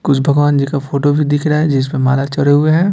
कुछ भगवान जी का फोटो भी दिख रहा है जिसमें माला चढ़े हूए हैं।